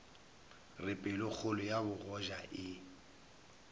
re pelokgolo ya bogoja e